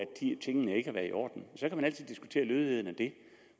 tingene ikke har været i orden så kan man altid diskutere lødigheden af dem